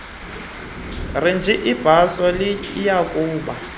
renji ibhaso eliyakuba